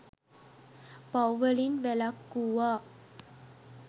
පව් වලින් වැළක්වූවා.